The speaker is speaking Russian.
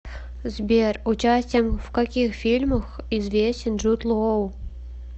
сбер участием в каких фильмах известен джуд лоу